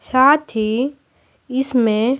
साथ ही इसमें--